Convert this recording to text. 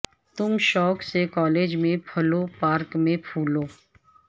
تم شوق سے کالج میں پھلو پارک میں پھولو